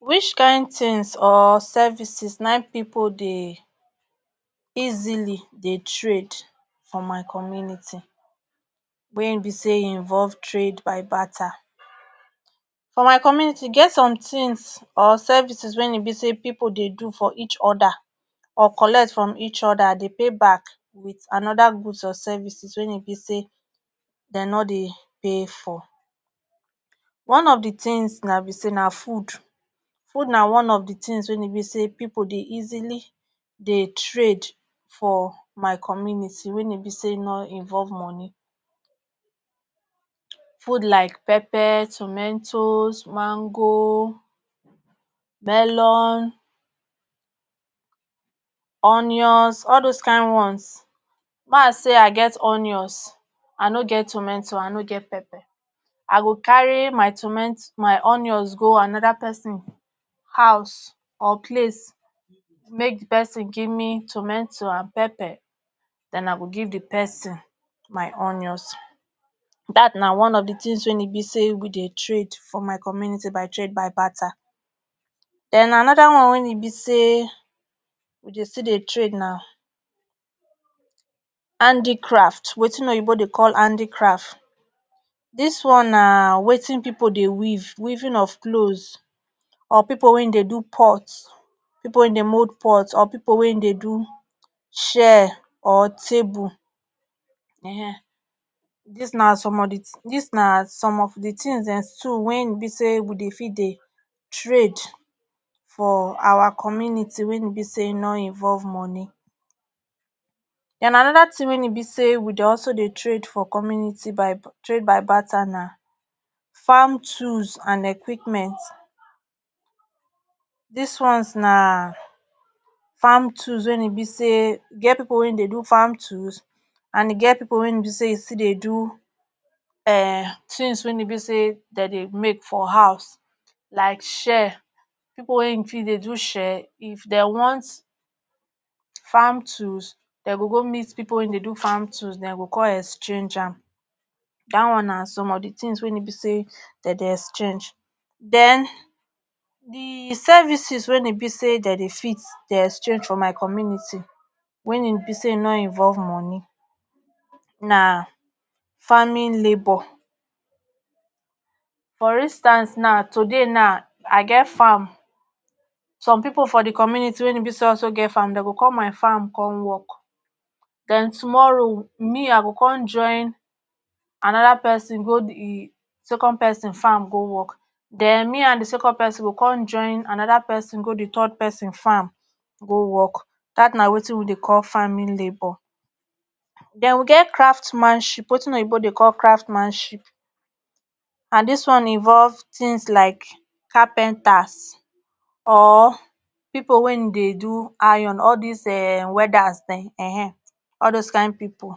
wish kain tins or services nai pipo dey easily dey trade for my community wey be say involve trade by batter for my community get some tins or services wen e be say pipo dey do for each oda or collect from each oda i dey pay back with anoda goods or services wey e be say dem nor dey pay for one of di tins na be say na food food na one of di tins wey e be say pipo dey easily dey trade for my community weyn e be ay nor involve moni food like pepper, tumetoz, mango melon, onions all dose kain ones, mah i say i get onions i no get tumeto, i no get pepper i go carry my tome, my onions go anoda person house or place make di pesin give me tometo and pepper den i give di person my onions. dat na one of di tins weyn e be say we dey trade for my community by trade by bartar. den anoda one wen e be say we dey still dey trade na handicraft watin oyibo dey call handicraf dis one na watin pipo dey weave, weaving of cloz or pipo wey dey do pot pipo wey dey mold pot or pipo weyn dey do chair or table[um]ehn dis na som of di tins dis na som of di tins dem so wen e be say we dey fi dey trade for our community weyn e be say e no involve moni. den anoda tin weyn e be say we dey alo dey trade for community by trade by bartar na farm tolls and equipment dis ones na farm tools weyn e be say get pipo ey dey do farm tools and e get pipo wey e be say e still dey do um tins weyn e be say den dey make for hous like chair pipo weyn fi dey do chair if den want farm tools den go go meet pipo wey dey do farm tools den go con exchage am dat one na som of di tins weyn e be say den dey exchange. den di services weyn e be say den dey fit dey exchange for my community wen e be say no involve moni na farming labor for instance na today na i get farm som pipo for di community wen e be say also get farm den go com my farm con work den tomorrow me i go con join anoda pesin go e second pesin farmgo work den me and di second pesin con join anoda pesin go di third person farm go work dat na watin we dey call farming labor. den we get craft manship watin oyibo dey call craft manship and did one involve tins like carpenters or ppipo weyn dey do iron all dis um welders den[um]ehn all doz kain pipo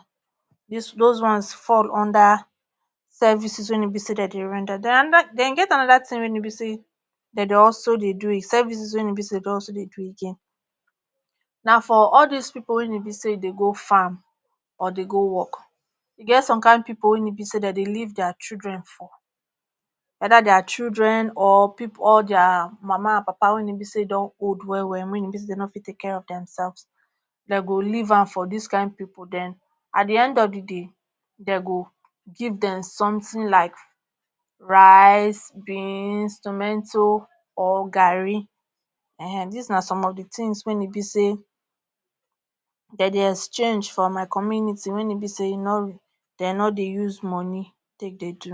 use doz ones fall under services weyn e be say den dey render. den anoda den e get anoda tin weyn e be say den dey also dey do services weyn e be say dor also dey do again na for all dis pipo weyn e be say dey go farm or dey go work. e get som kain pipo weyn e be say den dey leave dier children for either dier children or pipo or dier mama and papa wen e be say don old well well wen e be say den no fit take care of dem selvs den go leave am fo dis kain pipo den at di end of di day den go give dem som tin like rice, beans, tumeto, or garri[um]ehn dis na som of di tins weyn e be say den dey exchange for my community wen e be say e no den no dey use moni take dey do